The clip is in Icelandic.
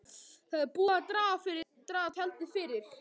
Það er búið að draga tjaldið fyrir.